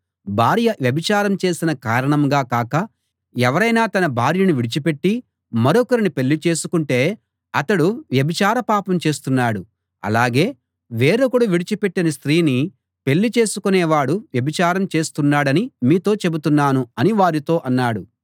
భార్య వ్యభిచారం చేసిన కారణంగా కాక ఎవరైనా తన భార్యను విడిచిపెట్టి మరొకరిని పెళ్ళిచేసుకుంటే అతడు వ్యభిచార పాపం చేస్తున్నాడు అలాగే వేరొకడు విడిచిపెట్టిన స్త్రీని పెళ్ళి చేసికొనేవాడు వ్యభిచారం చేస్తున్నాడని మీతో చెబుతున్నాను అని వారితో అన్నాడు